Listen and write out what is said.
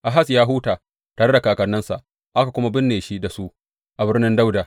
Ahaz ya huta tare da kakanninsa, aka kuma binne shi da su a Birnin Dawuda.